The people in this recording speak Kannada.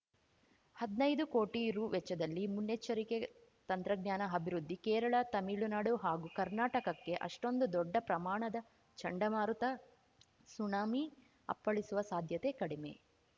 ಹದ್ನೈದು ಕೋಟಿ ರು ವೆಚ್ಚದಲ್ಲಿ ಮುನ್ನೆಚ್ಚರಿಕೆ ತಂತ್ರಜ್ಞಾನ ಅಭಿವೃದ್ಧಿ ಕೇರಳ ತಮಿಳುನಾಡು ಹಾಗೂ ಕರ್ನಾಟಕಕ್ಕೆ ಅಷ್ಟೊಂದು ದೊಡ್ಡ ಪ್ರಮಾಣದ ಚಂಡಮಾರುತ ಸುನಾಮಿ ಅಪ್ಪಳಿಸುವ ಸಾಧ್ಯತೆ ಕಡಿಮೆ